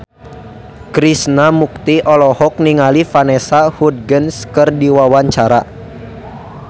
Krishna Mukti olohok ningali Vanessa Hudgens keur diwawancara